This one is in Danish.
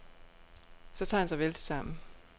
Så tager han sig vældigt sammen.